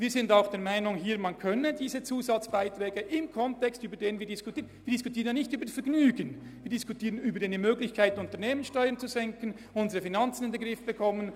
Wir diskutieren hier nicht zu unserem Vergnügen, sondern um eine Möglichkeit zu schaffen, die Unternehmenssteuern zu senken und unsere Finanzen in den Griff zu bekommen.